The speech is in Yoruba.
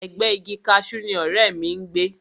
Ẹ̀gbẹ́ẹ igi kaṣú ni ọ̀rẹ́ mi ń gbé